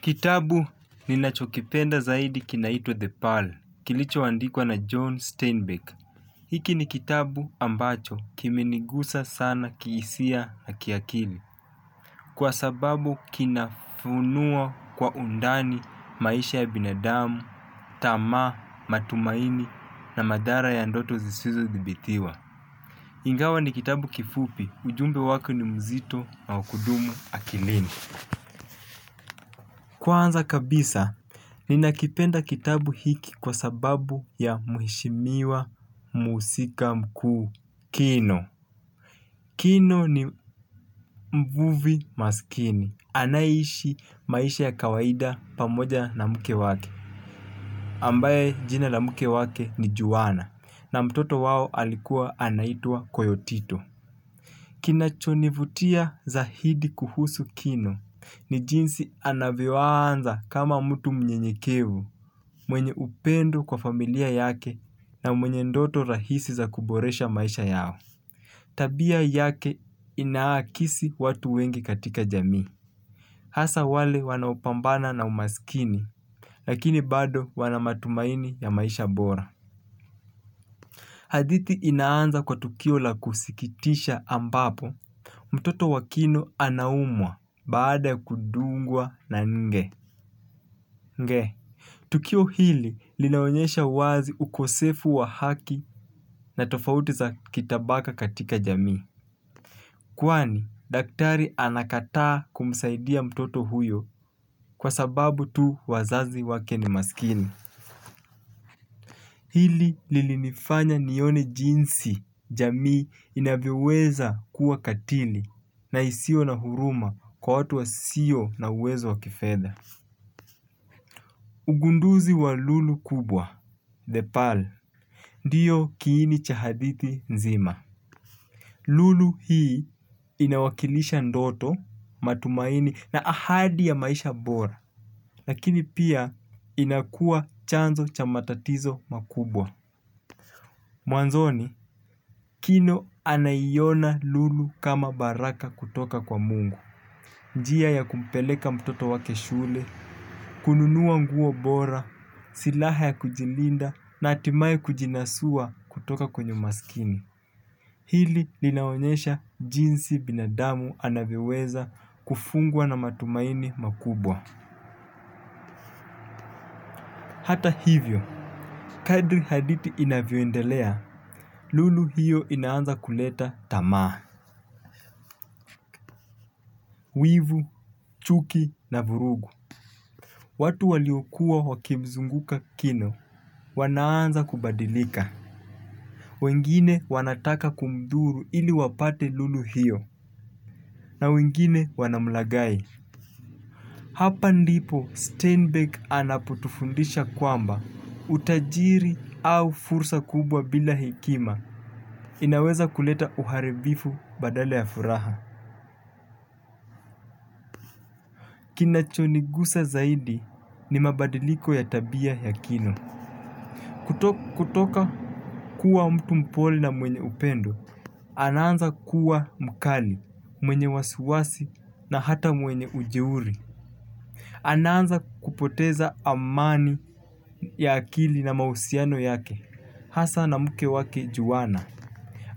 Kitabu ninachokipenda zaidi kinaitwa The Pearl, kilicho andikwa na John Steinbeck. Hiki ni kitabu ambacho kimenigusa sana kihisia na kiakili. Kwa sababu kinafunua kwa undani maisha ya binadamu, tamaa, matumaini na madhara ya ndoto zisizothibitiwa. Ingawa ni kitabu kifupi, ujumbe wake ni mzito na wa kudumu akilini. Kwanza kabisa, ninakipenda kitabu hiki kwa sababu ya muheshimiwa muhusika mkuu, Kino. Kino ni mvuvi maskini. Anayeishi maisha ya kawaida pamoja na mke wake. Ambaye jina la mke wake ni Juwana na mtoto wao alikuwa anaitwa Koyotito. Kinachonivutia zaidi kuhusu kino ni jinsi anavyo anza kama mtu mnyenyekevu, mwenye upendo kwa familia yake na mwenye ndoto rahisi za kuboresha maisha yao. Tabia yake inahakisi watu wengi katika jamii. Hasa wale wanao pambana na umasikini, lakini bado wana matumaini ya maisha bora. Hadithi inaanza kwa tukio la kusikitisha ambapo, mtoto wa kino anaumwa baada kudungwa na nge, nge. Tukio hili linaonyesha wazi ukosefu wa haki na tofauti za kitabaka katika jamii. Kwani, daktari anakataa kumsaidia mtoto huyo, kwa sababu tu wazazi wake ni maskini. Hili lilinifanya nione jinsi jamii inavyoweza kuwa katili na isiyo na huruma kwa watu wasio na uwezo wa kifedha. Ugunduzi wa lulu kubwa, 'The Pearl.' Ndio kiini cha hadithi nzima. Lulu hii inawakilisha ndoto, matumaini na ahadi ya maisha bora. Lakini pia inakua chanzo cha matatizo makubwa. Mwanzoni, Kino anaiona lulu kama baraka kutoka kwa mungu. Njia ya kumpeleka mtoto wake shule, kununua nguo bora, silaha ya kujilinda na hatimai kujinasua kutoka kwenye umaskini. Hili linaonyesha jinsi binadamu anavyoweza kufungwa na matumaini makubwa. Hata hivyo, kadri hadithi inavyoendelea, lulu hiyo inaanza kuleta tamaa. Wivu, chuki na vurugu, watu waliokuwa wakimzunguka Kino, wanaanza kubadilika. Wengine wanataka kumdhuru ili wapate lulu hiyo, na wengine wanamlaghai. Hapa ndipo Steinbeck anapotufundisha kwamba, utajiri au fursa kubwa bila hekima, inaweza kuleta uharibifu badala ya furaha. Kinachonigusa zaidi ni mabadiliko ya tabia ya Kino. Kutoka kuwa mtu mpole na mwenye upendo, anaanza kuwa mkali, mwenye wasi wasi na hata mwenye ujeuri. Anaanza kupoteza amani ya akili na mausiano yake hasa na mke wake Juwana.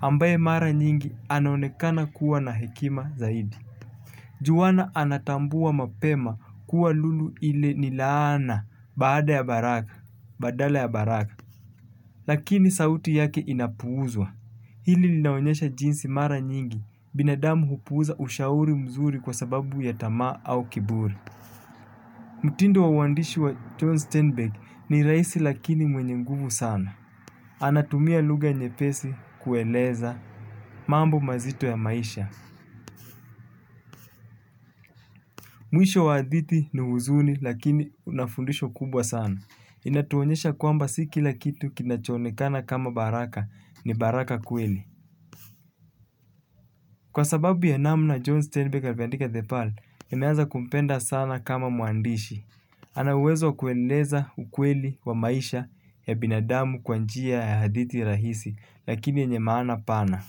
Ambaye mara nyingi anonekana kuwa na hekima zaidi. Juwana anatambua mapema kuwa lulu ile ni laana badala ya baraka. Lakini sauti yake inapuuzwa. Hili linaonyesha jinsi mara nyingi binadamu hupuuza ushauri mzuri kwa sababu ya tamaa au kiburi. Mtindo wa uandishi wa John Steinbeck, ni rahisi lakini mwenye nguvu sana. Anatumia lugha nyepesi kueleza mambo mazito ya maisha. Mwisho wa haditi ni huzuni lakini una fundisho kubwa sana. Inatuonyesha kwamba si kila kitu kinachoonekana kama baraka ni baraka kweli. Kwa sababu ya namna John Stanbeck ameandika 'The Pearl' niemeaza kumpenda sana kama muandishi. Ana uwezo wa kueleza ukweli wa maisha ya binadamu kwa njia ya haditi rahisi, lakini yenye maana pana.